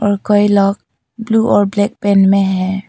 और कई लोग ब्लू और ब्लैक पेन में है।